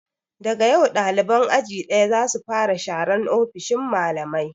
Daga yau ɗaliban aji ɗaya za su fara sharan ofishin malamai!